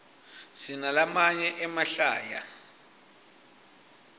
sinalamanye emahlaya